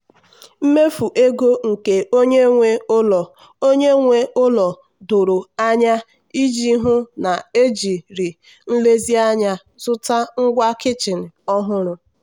mmefu ego nke onye nwe ụlọ onye nwe ụlọ doro anya iji hụ na ejiri nlezianya zụta ngwa kichin ọhụrụ.